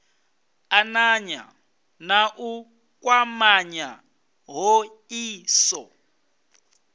ananya na u kwamanya hoisiso